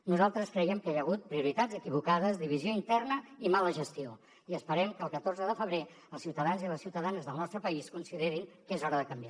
nosaltres creiem que hi ha hagut prioritats equivocades divisió interna i mala gestió i esperem que el catorze de febrer els ciutadans i les ciutadanes del nostre país considerin que és hora de canviar